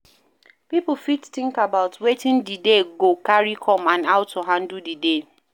Pipo fit think about wetin di day go carry come and how to handle di day